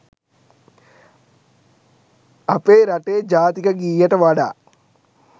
අපේ රටේ ජාතික ගීයට වඩා